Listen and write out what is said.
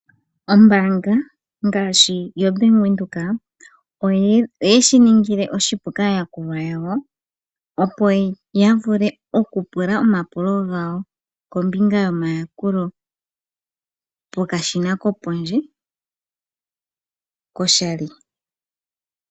Ombaanga ngaashi yo Bank Windhoek oye shi ningile oshipu kaayakulwa yawo opo ya vule okupula omapulo gawo kombinga yomayakulo pokashina kopondje koshali.